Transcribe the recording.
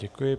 Děkuji.